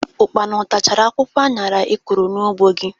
Ụkpana o tachara akwụkwọ añara ị kụrụ n'ugbọ gị?